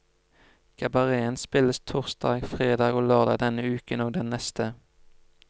Kabareten spilles torsdag, fredag og lørdag denne uken og den neste.